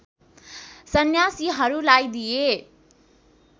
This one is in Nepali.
सन्यासीहरूलाई दिए।